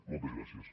moltes gràcies